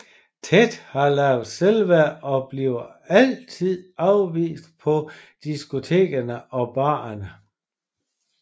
Ted har lavt selvværd og bliver altid afvist på diskotekerne og barerne